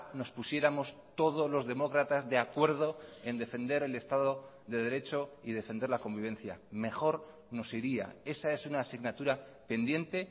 nos pusiéramos todos los demócratas de acuerdo en defender el estado de derecho y defender la convivencia mejor nos iría esa es una asignatura pendiente